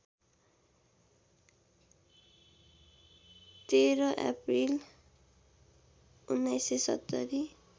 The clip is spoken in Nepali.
१३ अप्रिल १९७०